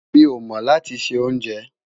Mí o mo lati ṣe onjè